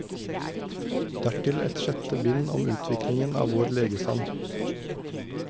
Dertil et sjette bind om utviklingen av vår legestand.